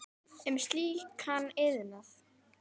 um slíkan iðnað.